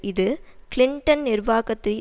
இது கிளிண்டன் நிர்வாகத்தை